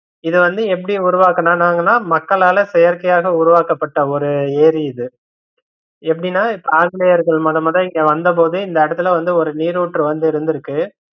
இத வந்து எப்படி உருவக்கனங்கனா மக்களால் செயற்கையாக உருவாக்கப்பட்ட ஒரு ஏரி இது எப்படினா இப்ப ஆங்கிலேயர்கள் முதல் முதல இங்க வந்தபோது இந்த இடத்துல வந்து ஒரு நீருற்று இங்க வந்து இருந்திருக்கு.